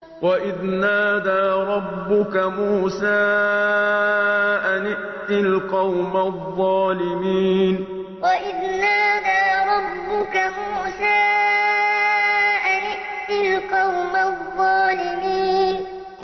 وَإِذْ نَادَىٰ رَبُّكَ مُوسَىٰ أَنِ ائْتِ الْقَوْمَ الظَّالِمِينَ وَإِذْ نَادَىٰ رَبُّكَ مُوسَىٰ أَنِ ائْتِ الْقَوْمَ الظَّالِمِينَ